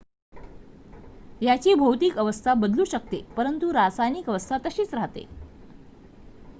याची भौतिक अवस्था बदलू शकते परंतु रासायनिक अवस्था तशीच राहते